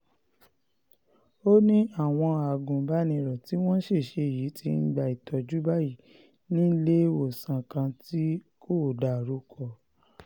ó ní àwọn agùnbánirò tí wọ́n ṣẹ̀ṣẹ̀ yìí ti ń gba ìtọ́jú báyìí níléemọ̀sán kan tí kò dárúkọ